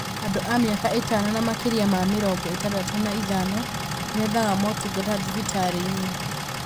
Andũ a mĩaka ĩtano na makĩria ma mĩrongo ĩtandatũ na ithano nĩmethaga motungata thibitarĩ inĩ